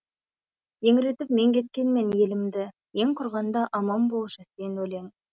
еңіретіп мен кеткенмен елімді ең құрғанда аман болшы сен өлең